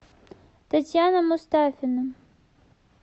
татьяна мустафина